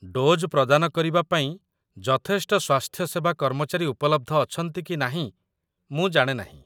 Dose ପ୍ରଦାନ କରିବା ପାଇଁ ଯଥେଷ୍ଟ ସ୍ୱାସ୍ଥ୍ୟସେବା କର୍ମଚାରୀ ଉପଲବ୍ଧ ଅଛନ୍ତି କି ନାହିଁ ମୁଁ ଜାଣେ ନାହିଁ।